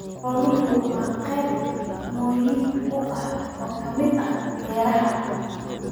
Xooluhu waa qayb muhiim ah oo ka mid ah beeraha.